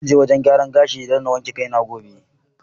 Zan je wajen gyaran gashi na wanke kai ne gobe.